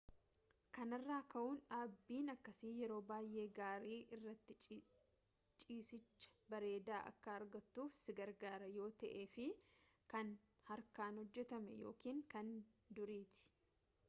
kanarraa ka'uun dhaabbiin akkasii yeroo baayyee gaarii irratti ciisiicha bareedaa akka argattuuf si gargaara yoo ta'eef kan harkaan hojjetame ykn kan duriiti